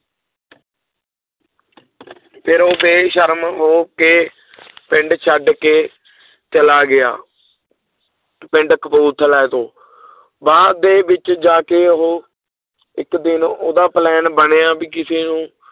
ਫਿਰ ਉਹ ਬੇਸ਼ਰਮ ਹੋ ਕੇ ਪਿੰਡ ਛੱਡ ਕੇ ਚਲਾ ਗਿਆ ਪਿੰਡ ਕਪੂਰਥਲਾ ਤੋਂ ਬਾਅਦ ਦੇ ਵਿੱਚ ਜਾ ਕੇ ਉਹ ਇੱਕ ਦਿਨ ਉਹਦਾ plan ਬਣਿਆ ਵੀ ਕਿਸੇ ਨੂੰ